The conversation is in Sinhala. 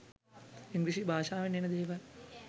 ඉංග්‍රීසි භාෂාවෙන් එන දේවල්